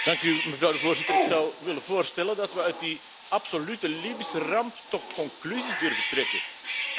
Ik zou willen voorstellen dat we uit die absolute Libische ramp toch conclusies durven trekken, en wel twee.